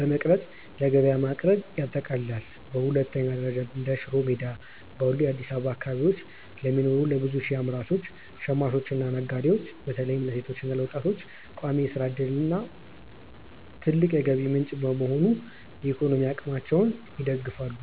በመቅረጽ ለገበያ ማቅረብን ያጠቃልላል። በሁለተኛ ደረጃ፣ እንደ ሽሮ ሜዳ ባሉ የአዲስ አበባ አካባቢዎች ለሚኖሩ ለብዙ ሺህ አምራቾች፣ ሽማኞችና ነጋዴዎች (በተለይም ለሴቶችና ለወጣቶች) ቋሚ የሥራ ዕድልና ትልቅ የገቢ ምንጭ በመሆን የኢኮኖሚ አቅማቸውን ይደግፋሉ።